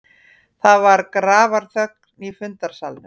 Það var grafarþögn í fundarsalnum.